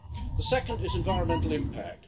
The second is environmental impact.